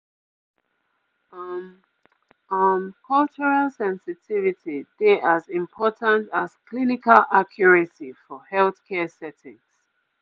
um um cultural sensitivity dey as important as clinical accuracy for healthcare settings